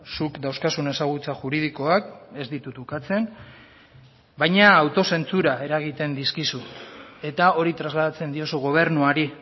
zuk dauzkazun ezagutza juridikoak ez ditut ukatzen baina autozentsura eragiten dizkizu eta hori trasladatzen diozu gobernuari